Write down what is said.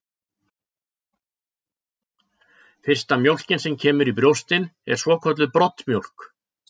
Fyrsta mjólkin sem kemur í brjóstin er svokölluð broddmjólk.